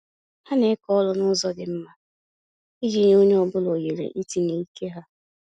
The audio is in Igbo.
Ha na-eke ọrụ na-ụzọ dị mma, iji nye onye ọ bụla ohere itinye ike ha